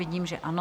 Vidím, že ano.